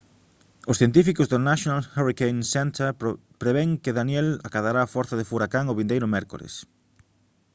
os científicos do national hurricane center prevén que danielle acadará forza de furacán o vindeiro mércores